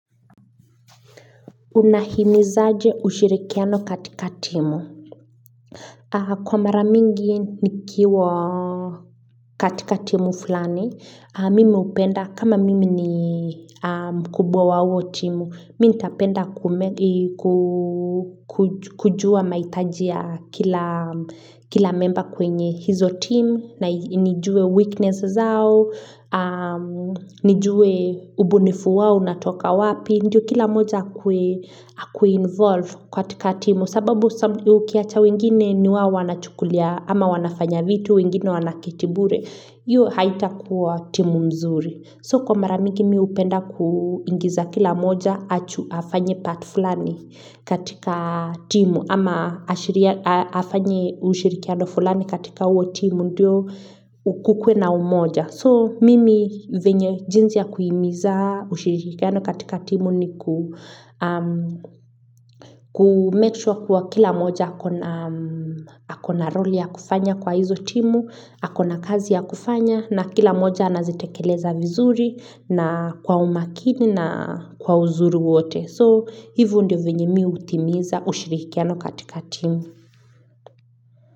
Unahimizaje ushirikiano katika timu? Aaaaa Kwa mara mingi nikiwaaaaa katika timu fulani, aaa mimi hupenda kama mimi ni aaaa mkubwa wa huwo timu, mimi ntapenda kume aaa kuu kujua mahitaji ya kilaaaa memba kwenye hizo timu na nijue weakness zao, aaa nijue ubunifu wao unatoka wapi. Ndio kila moja akuwe akuweinvolve kwa katika timu. Sababu sabu ukiacha wengine ni wao wanachukulia ama wanafanya vitu wengine wanaketi bure. Hiyo haitakuwa timu mzuri. So kwa mara mingi mi hupenda ku ingiza kila moja achu afanye part fulani katika timu. Ama ashria aa afanye ushirikiano fulani katika huo timu ndio ukukwe na umoja. So, mimi venye jinsi ya kuhimiza ushirikiano katika timu ni ku aaa kumemake kwa kuwa kila moja akona roli ya kufanya kwa hizo timu, akona kazi ya kufanya na kila moja anazitekeleza vizuri na kwa umakini na kwa uzuru wote. So, hivyo ndo venye mi hutimiza ushirikiano katika timu.